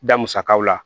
Da musakaw la